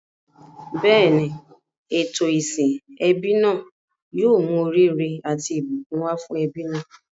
Bẹ́ẹ̀ni, ètò ìsìn ẹbí náà yóò mú oríire àti ìbùkún wá fún ẹbí náà.